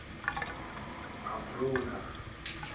abrona